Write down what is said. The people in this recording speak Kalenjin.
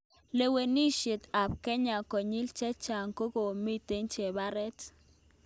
Lewe ishek ap kenya konyil chechang kokomiten cheparet